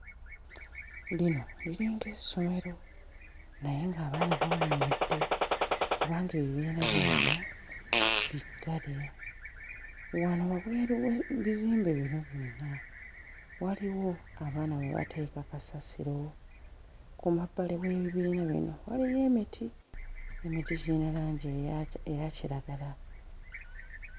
Lino liringa essomero naye ng'abaana bawummudde kubanga ebibiina byonna biggale. Wano wabweru w'ebizimbe bino byonna waliwo abaana we bateeka kasasiro, ku mabbali w'ebibiina bino waliyo emiti; emiti giyina langi eya... eya kiragala.